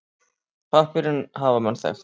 Pappírinn hafa menn þekkt.